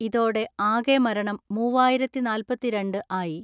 ഇതോടെ ആകെ മരണം മൂവായിരത്തിനാല്‍പത്തിരണ്ട് ആയി.